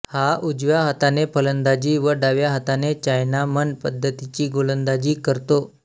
हा उजव्या हाताने फलंदाजी व डाव्या हाताने चायनामन पध्दतीची गोलंदाजी करतो